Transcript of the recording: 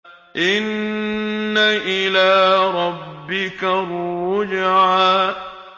إِنَّ إِلَىٰ رَبِّكَ الرُّجْعَىٰ